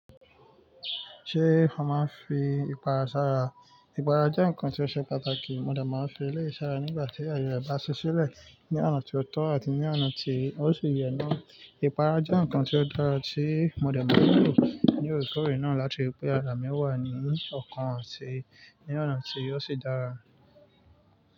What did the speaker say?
Ṣé mo máa ń fi ìpara sara? Ìpara jẹ́ ǹkan tí ó ṣe pàtàkì. Mo dà máa ń fi eléyìí sara nígbà tí ààye rẹ bá ṣí ṣílẹ̀ ní ọ̀nà tí ó tọ́ àti ní ọ̀nà tí ó sì yẹ́ náà. Ìpara jẹ́ ǹkan tí ó dára tí mo dẹ̀ máa ń lò ní òòrèkòòrè náà láti ri pé ara mi wà ní ọ̀kan àti ní ọ̀nà tí ó sì dára.